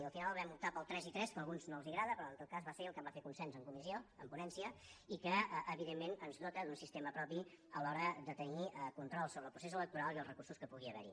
i al final vam optar pel tres i tres que a alguns no els agrada però en tot cas va ser el que va fer consens en comissió en ponència i que evidentment ens dota d’un sistema propi a l’hora de tenir control sobre el procés electoral i els recursos que puguin haver hi